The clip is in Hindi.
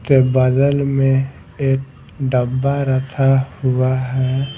के बगल में एक डब्बा रखा हुआ है ।